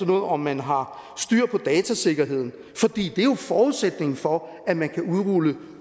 noget om man har styr på datasikkerheden for det er jo forudsætningen for at man kan udrulle